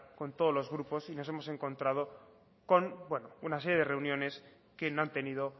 con todos los grupos y nos hemos encontrado con bueno una serie de reuniones que no han tenido